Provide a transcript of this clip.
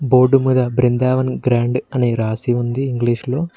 Board మీద Brindavan grand అని రాసి ఉంది ఇంగ్లీష్ లో.